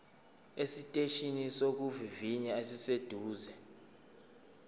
esiteshini sokuvivinya esiseduze